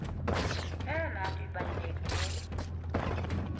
eyona nto ibalulekileyo